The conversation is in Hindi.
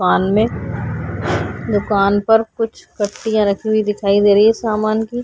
में दुकान पर कुछ पट्टियाँ रखी हुई दिखाई दे रही है सामान की।